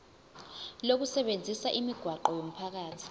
lokusebenzisa imigwaqo yomphakathi